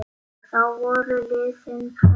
Þá voru liðin tvö ár.